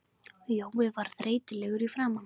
Jói var þreytulegur í framan.